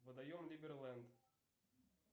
водоем либерленд